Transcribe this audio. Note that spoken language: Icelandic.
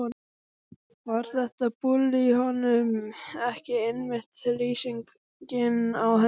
Var þetta bull í honum ekki einmitt lýsingin á henni?